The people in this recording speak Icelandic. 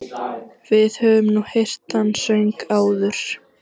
Við höfum nú heyrt þann söng áður.